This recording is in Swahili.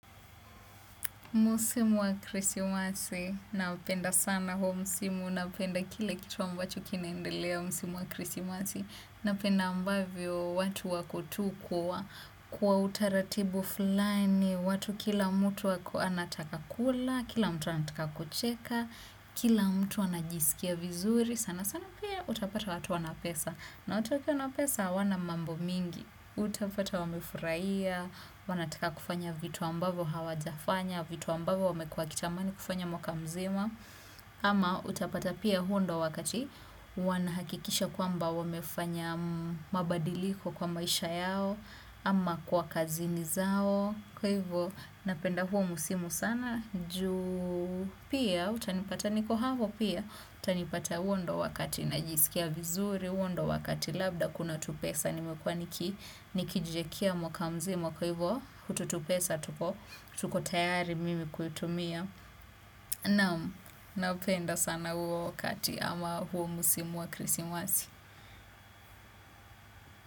Msimu wa krisimasi, napenda sana huo msimu, napenda kile kitu ambacho kinaendelea msimu wa krismasi, napenda ambavyo watu wako tu kwa, kwa utaratibu fulani, watu kila mtu ako anataka kula, kila mtu anataka kucheka, kila mtu anajisikia vizuri, sana sana pia utapata watu wana pesa, na watu wakiwa napesa hawana mambo mingi, utapata wamefurahia, wanataka kufanya vitu ambavo hawajafanya vitu ambavo wamekua wakitamani kufanya mwaka mzima ama utapata pia huo ndo wakati wanahakikisha kwamba wamefanya mabadiliko kwa maisha yao ama kwa kazini zao kwa hivyo napenda huo msimu sana ju pia utanipata niko hapo pia utanipata huo ndo wakati najisikia vizuri huo ndo wakati labda kuna tupesa nimekuwa niki nikijiekea mwaka mzima kwa hivo hutu tupesa tuko tukotayari mimi kuitumia napenda sana huo wakati ama huo msimu wa krisimasi.